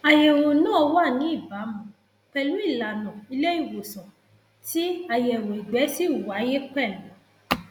àyẹwò náà wà ní ìbámu pẹlú ìlanà ilé ìwòsàn tí àyẹwò ìgbẹ si wáyé pẹlú